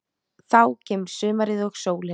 Þá kemur sumarið og sólin.